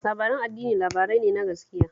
Labaran addini labarai ne ne na gaskiya